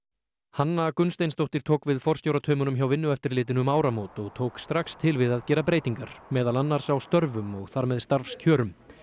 hanna Gunnsteinsdóttir tók við forstjórataumunum hjá Vinnueftirlitinu um áramót og tók strax til við að gera breytingar meðal annars á störfum og þar með starfskjörum